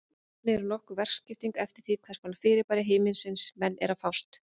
Hann er stjórnstöð fyrir margvíslega lífsnauðsynlega starfsemi, svo sem æðaþrengingu og-víkkun, kyngingu og öndun.